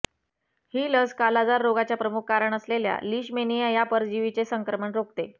ही लस कालाजार रोगाचे प्रमुख कारण असलेल्या लीशमैनिया या परजीवीचे संक्रमण रोखते